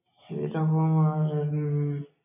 সেরকম আর উম